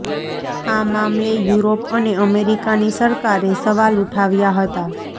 આ મામલે યુરોપ અને અમેરિકાની સરકારે સવાલ ઉઠાવ્યા હતા